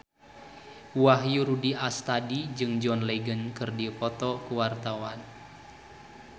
Wahyu Rudi Astadi jeung John Legend keur dipoto ku wartawan